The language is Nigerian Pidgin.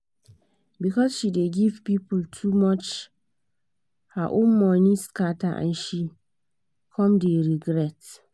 because she dey give people too much her own money scatter and she come dey regret.